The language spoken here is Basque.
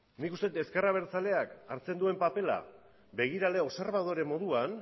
nik uste dut ezker abertzaleak hartzen duen papera begirale moduan